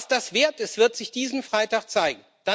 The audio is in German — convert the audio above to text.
Was das wert ist, wird sich diesen Freitag zeigen.